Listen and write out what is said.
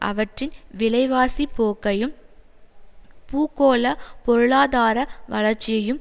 அவற்றின் விலைவாசி போக்கையும் பூகோள பொருளாதார வளர்ச்சியும்